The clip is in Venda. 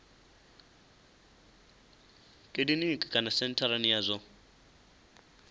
kiliniki kana sentharani ya zwa